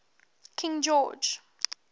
king george